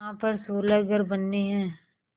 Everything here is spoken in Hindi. यहाँ पर सोलह घर बनने हैं